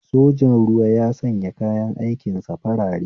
Sojan ruwa ya sanya kayan aikin sa farare